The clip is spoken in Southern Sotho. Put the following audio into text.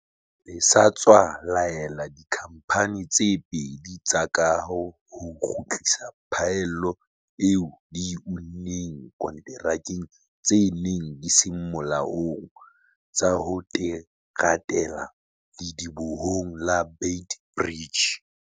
le sa tswa laela dikhamphane tse pedi tsa kaho ho kgutlisa phaello eo di e unneng konterakeng tse neng di se molaong tsa ho teratela ledibohong la Beit Bridge.